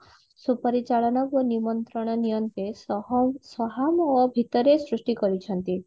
ସୁପରିଚାଳନୀ ଓ ନିମନ୍ତ୍ରଣ ନିଅନ୍ତେ ଓ ଭୀତରେ ସୃଷ୍ଟି କରିଚନ୍ତି